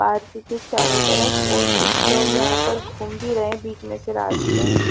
park के चारो तरफ और कुछ लोग यहाँ पर गुम भी रहे है बिच में से रास्ते--